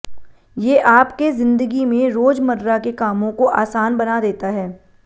ये आप के जिंदगी में रोजमर्रा के कामों को आसान बना देता है